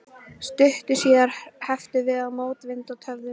Stuttu síðar hrepptum við mótvind og töfðumst.